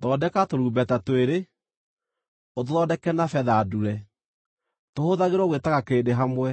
“Thondeka tũrumbeta twĩrĩ, ũtũthondeke na betha ndure, tũhũthagĩrwo gwĩtaga kĩrĩndĩ hamwe,